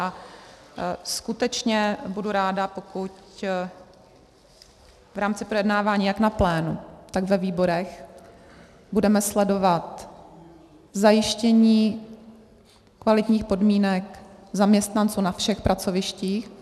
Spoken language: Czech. A skutečně budu ráda, pokud v rámci projednávání jak na plénu, tak ve výborech budeme sledovat zajištění kvalitních podmínek zaměstnanců na všech pracovištích.